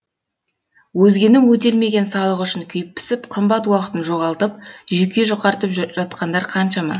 өзгенің өтелмеген салығы үшін күйіп пісіп қымбат уақытын жоғалтып жүйке жұқартып жатқандар қаншама